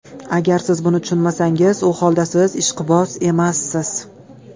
Agar siz buni tushunmasangiz, u holda siz ishqiboz emassiz.